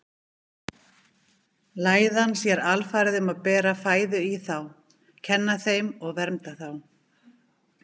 Læðan sér alfarið um að bera fæðu í þá, kenna þeim og vernda þá.